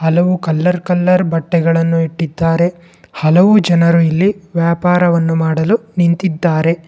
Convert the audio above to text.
ಹಲವು colour colour ಬಟ್ಟೆಗಳನ್ನು ಇಟ್ಟಿದ್ದಾರೆ ಹಲವು ಜನರು ಇಲ್ಲಿ ವ್ಯಾಪಾರವನ್ನು ಮಾಡಲು ನಿಂತಿದ್ದಾರೆ.